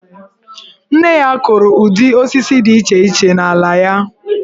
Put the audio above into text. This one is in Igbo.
Nne ya kụrụ ụdị osisi dị iche iche n'ala ya.